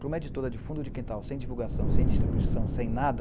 Para uma editora de fundo de quintal, sem divulgação, sem distribuição, sem nada,